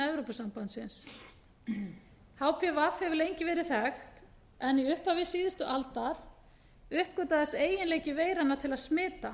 evrópusambandsins hpv hefur lengi verið þekkt en í upphafi síðustu aldar uppgötvaðist eiginleiki veiranna til að smita